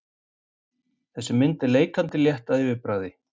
Þessi mynd er leikandi létt að yfirbragði.